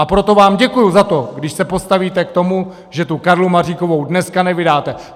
A proto vám děkuji za to, když se postavíte k tomu, že tu Karlu Maříkovou dneska nevydáte.